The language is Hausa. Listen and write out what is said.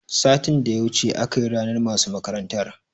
Satin da ya wuce akayi ranar masu makarantar